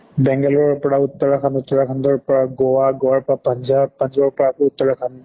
বেঙ্গালুৰু ৰ পৰা উত্তৰাখ্ন্দ, উত্তৰাখ্ন্দৰ পৰা গোৱা, গোৱাৰ পৰা পান্জাব, পান্জাৱৰ পৰা আকৌ উত্তৰাখ্ন্দ